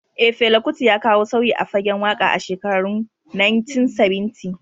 Eh, Fela Kuti ya kawo sauyi a fagen waka a shekarun 1970.